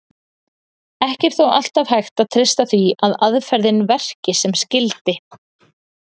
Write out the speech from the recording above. Ekki er þó alltaf hægt að treysta því að aðferðin verki sem skyldi.